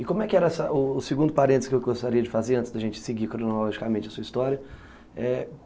E como é que era essa, o segundo parênteses que eu gostaria de fazer antes da gente seguir cronologicamente a sua história... É...